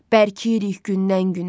Bərkiyirik gündən-günə.